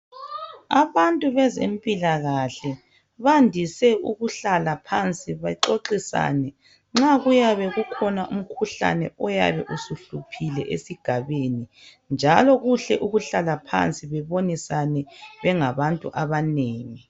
Abantu bezempilakahle, bandise ukuhlala phansi bexoxisane nxa kuyabe kukhona umkhuhlane oyabe usuhluphile esigabeni njalo kuhle ukuhlala phansi bebonisane bengabantu abanengi.